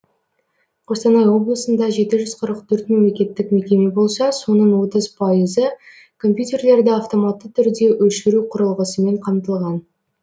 қостанай облысында жеті жүз қырық төрт мемлекеттік мекеме болса соның отыз пайызы компьютерлерді автоматты түрде өшіру құрылғысымен қамтылған